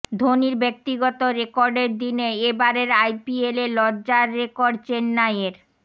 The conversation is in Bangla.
ধোনির ব্যক্তিগত রেকর্ডের দিনে এ বারের আইপিএলে লজ্জার রেকর্ড চেন্নাইয়ের